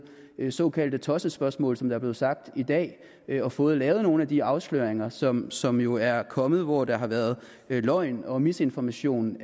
såkaldte tossespørgsmål som der er blevet sagt i dag og fået lavet nogle af de afsløringer som som jo er kommet hvor der har været løgn og misinformation